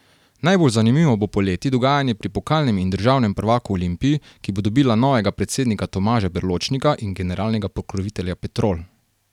Najbolj zanimivo bo poleti dogajanje pri pokalnem in državnem prvaku Olimpiji, ki bo dobila novega predsednika Tomaža Berločnika in generalnega pokrovitelja Petrol.